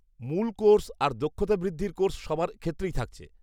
-মূল কোর্স আর দক্ষতা বৃদ্ধির কোর্স সবার ক্ষেত্রেই থাকছে।